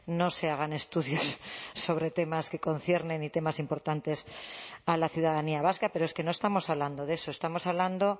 no se hagan estudios sobre temas que conciernen y temas importantes a la ciudadanía vasca pero es que no estamos hablando de eso estamos hablando